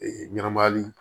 Ee ɲɛnamayali